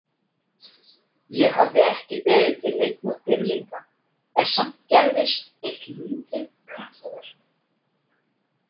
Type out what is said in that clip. Ég hafði ekki beðið til neinna dýrlinga en samt gerðist eitt lítið kraftaverk.